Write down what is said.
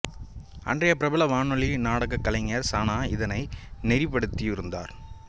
அன்றைய பிரபலமான வானொலி நாடகக் கலைஞர் சானா இதனை நெறிப்படுத்தியிருந்தார்